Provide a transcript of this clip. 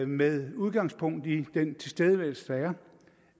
med udgangspunkt i den tilstedeværelse der er